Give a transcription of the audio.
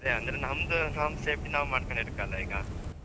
ಅದೆ ಅಂದ್ರೆ ನಮ್ದ್ ನಮ್ಮ್ safety ನಾವ್ ಮಾಡ್ಕಂಡ್ ಇರ್ಕಲ್ಲ ಈಗ.